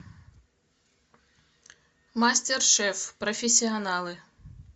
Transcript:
мастер шеф профессионалы